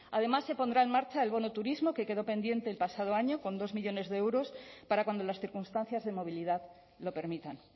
además se pondrá en marcha el bono turismo que quedó pendiente el pasado año con dos millónes de euros para cuando las circunstancias de movilidad lo permitan